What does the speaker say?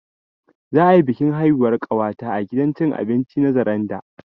Za'a yi bikin haihuwar ƙawata a gidan cin abinci na Zaranda